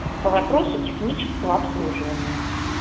по вопросу технического обслуживания